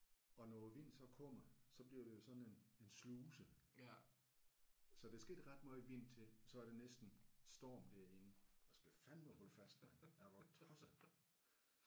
Og når vinden så kommer så bliver det jo sådan en en sluse så der skal ikke ret meget vind til så er der næsten storm derinde. Du skal fandeme holde fast mand er du tosset